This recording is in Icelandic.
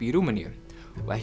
í Rúmeníu og ekki